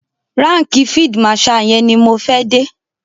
Ránkìì field marshal yẹn ni mo fẹ́ dé.